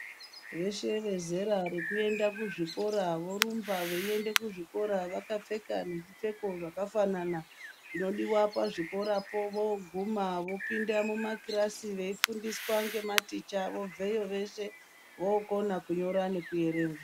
Veshe vezera rekuende kuzvikora vorumba veiende kuzvikora vakapfeka nezvipfeko zvakafanana zvínodiwa pazvikorapo voguma bopinda mumakirasi veifundiswa ngematicha obveyo veshe vokona kunyora nekuerenga.